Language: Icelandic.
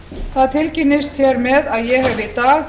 það tilkynnist hér með að ég